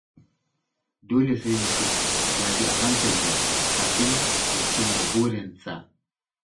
Dole sai mutum ya bi a hankali kafin ya cimma burinsa.